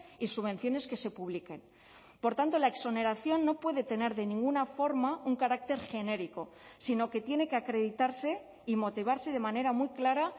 y subvenciones que se publiquen por tanto la exoneración no puede tener de ninguna forma un carácter genérico sino que tiene que acreditarse y motivarse de manera muy clara